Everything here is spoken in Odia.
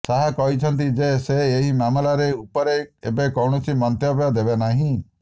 ଶାହା କହିଛନ୍ତି ଯେ ସେ ଏହି ମାମଲାରେ ଉପରେ ଏବେ କୌଣସି ମନ୍ତବ୍ୟ ଦେବେ ନାହିଁ